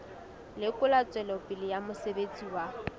lekola tswelopele ya mosebetsi wa